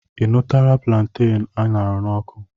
Ị nụtụlarị plantain a ṅara n'ọkụ?